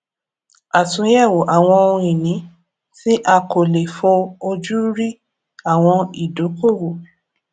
àtúnyẹwò àwọn ohun ìní tí a kò lè fó ojú rí àwọn ìdókòwò